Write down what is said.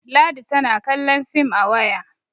ladi tana kallon fim a waya